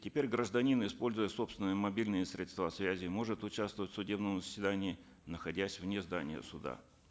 теперь гражданин используя собственные мобильные средства связи может участвовать в судебном заседании находясь вне здания суда